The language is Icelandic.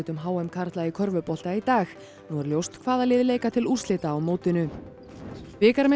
h m karla í körfubolta í dag nú er ljóst hvaða lið leika til úrslita á mótinu